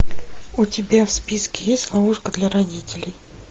у тебя в списке есть ловушка для родителей